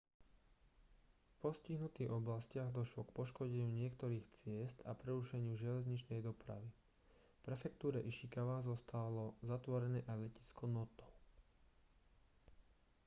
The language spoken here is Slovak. v postihnutých oblastiach došlo k poškodeniu niektorých ciest a prerušeniu železničnej dopravy v prefektúre ishikawa zostalo zatvorené aj letisko noto